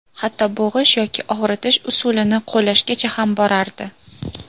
Hatto bo‘g‘ish yoki og‘ritish usulini qo‘llashgacha ham borardi.